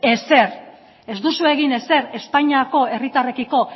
ezer ez duzue egin ezer espainiako herritarrekiko